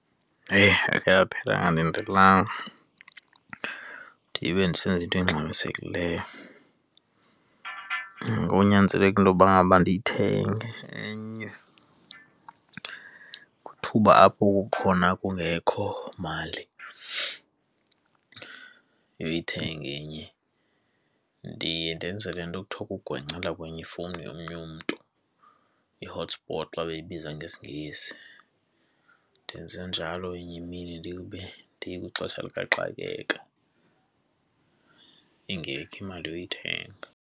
Heyi, yakhe yaphela ndingalindelanga ndibe ndisenza into engxamisekileyo. Kunyanzeleke intoba ngaba ndiyithenge enye. Kwithuba apho kukhona kungekho mali yoyithenga enye ndiye ndenze le nto ekuthiwa kugwencela kwenye ifowuni yomnye umntu, i-hotspot xa weyibiza ngesiNgesi. Ndenze njalo inye imini ndibe ndikwixesha likaxakeka, ingekho imali yoyithenga.